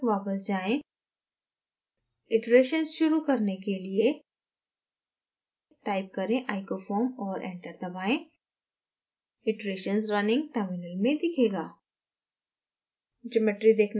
एक स्तर तक वापस जाएँ iterations शुरू करने के लिए type करें icofoam और enter दबाएँ iterations running terminal में दिखेगा